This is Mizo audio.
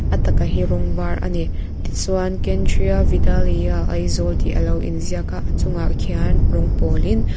a taka hi rawng var a ni tichuan kendriya vidyalaya aizawl tih a lo in ziak a a chungah hian rawng pawl in.